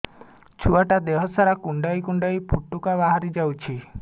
ଛୁଆ ଟା ଦେହ ସାରା କୁଣ୍ଡାଇ କୁଣ୍ଡାଇ ପୁଟୁକା ବାହାରି ଯାଉଛି